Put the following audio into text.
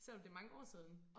Selvom det mange år siden